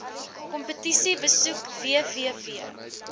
kompetisie besoek www